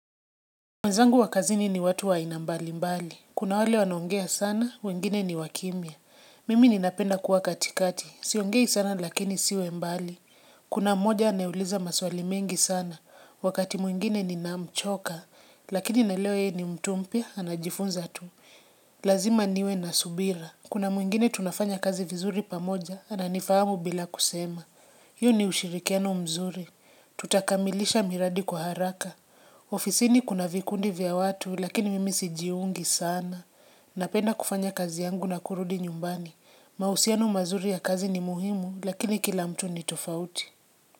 Wenzangu wa kazini ni watu wa aina mbalimbali. Kuna wale wanoongea sana, wengine ni wakimya. Mimi ninapenda kuwa katikati, siongei sana lakini siwi mbali. Kuna mmoja anayeuliza maswali mengi sana, wakati mwingine nina mchoka, lakini naelewa yeye ni mtu mpya, anajifunza tu. Lazima niwe nasubira. Kuna mwingine tunafanya kazi vizuri pamoja, ananifahamu bila kusema. Huu ni ushirikiano mzuri. Tutakamilisha miradi kwa haraka. Ofisini kuna vikundi vya watu, lakini mimi sijiungi sana. Napenda kufanya kazi yangu na kurudi nyumbani. Mahusiano mazuri ya kazi ni muhimu, lakini kila mtu ni tofauti.